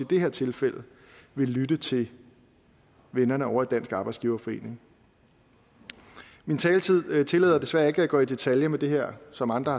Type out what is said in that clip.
det her tilfælde ville lytte til vennerne ovre i dansk arbejdsgiverforening min taletid tillader desværre ikke at jeg går i detaljer med det her som andre